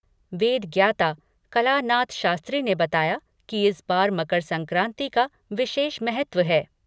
वेद ज्ञाता कलानाथ शास्त्री ने बताया कि इस बार मकर संक्राति का विशेष महत्व है।